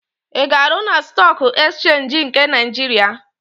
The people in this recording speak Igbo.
Ị ga-arụ na Stọọk Ekchenji nke Naịjiria?